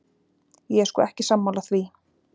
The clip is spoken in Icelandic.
Ég er sko ekki sammála því.